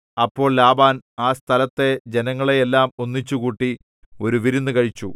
അപ്പോൾ ലാബാൻ ആ സ്ഥലത്തെ ജനങ്ങളെ എല്ലാം ഒന്നിച്ചുകൂട്ടി ഒരു വിരുന്നു കഴിച്ചു